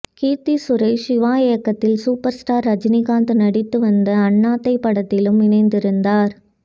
கீர்த்தி சுரேஷ் சிவா இயக்கத்தில் super star Rajinikanth நடித்து வந்த அண்ணாத்த படத்திலும் இணைந்திருந்தார்